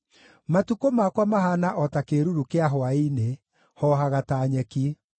Matukũ makwa mahaana o ta kĩĩruru kĩa hwaĩ-inĩ; hoohaga ta nyeki.